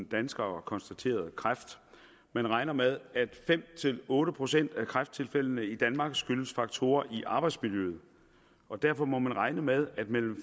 danskere konstateret kræft man regner med at fem otte procent af kræfttilfældene i danmark skyldes faktorer i arbejdsmiljøet og derfor må man regne med at mellem